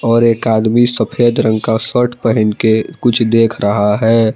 और एक आदमी सफेद रंग का शर्ट पहन के कुछ देख रहा है।